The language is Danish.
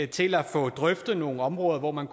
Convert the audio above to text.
til at få drøftet nogle områder hvor man